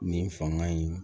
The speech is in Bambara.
Nin fanga in